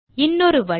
இன்னொரு வழி